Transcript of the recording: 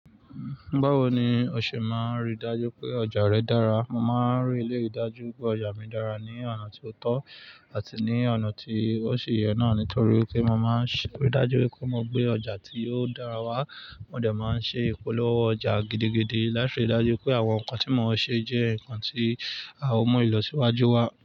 Ba wo ni o ṣe máa rí i dájú pé ọjà rẹ dára? Mo máa ń rí i dájú pé ọjà mi dára ní ọ̀nà tí ó tọ́ àti ní ọ̀nà tí ó ṣe yẹ náà nítorí pé mo máa ń rí i dájú pé mo gbé ọjà tí ó dára wá. Mo dẹ̀ máa ń ṣe ìpolówó ọjà gidigidi láti rí i dájú pé àwọn nǹkan tí mo ṣe jẹ́ nǹkan tí à ó mú ìlọsíwájú wa.